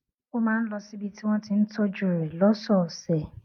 ó máa ń lọ síbi tí wón ti ń tójú rè lósòòsè